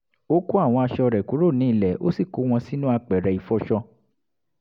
ó kó àwọn aṣọ rẹ̀ kúrò ní ilẹ̀ ó sì kó wọn sínú apẹ̀rẹ̀ ìfọṣọ